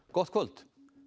gott kvöld